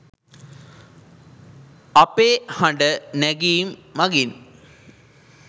අපේ හඬ නැගීම් මගින්